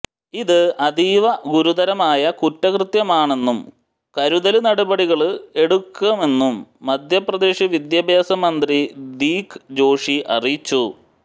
ഇത് അതീവ ഗുരുതരമായ കുറ്റകൃത്യമാണെന്നും കരുതല് നടപടികള് എടുക്കുമെന്നും മധ്യപ്രദേശ് വിദ്യാഭ്യാസ മന്ത്രി ദീക് ജോഷി അറിയിച്ചു